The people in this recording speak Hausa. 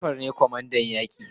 Jafar ne kwamandan yaki